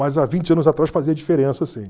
Mas há vinte anos atrás fazia diferença, sim.